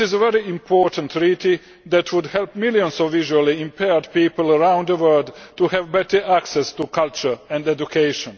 This is a very important treaty that would help millions of visually impaired people around the world to have better access to culture and education.